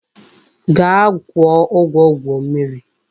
Gaa kwuo ugwo gwuo mmiri.